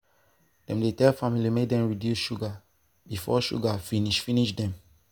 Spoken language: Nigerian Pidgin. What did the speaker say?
dem dey tell family make dem reduce sugar before sugar finish finish dem.